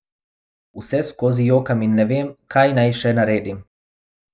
Vseskozi jokam in ne vem, kaj naj še naredim.